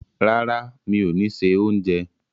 Rárá, mi ò ni se oúnjẹ.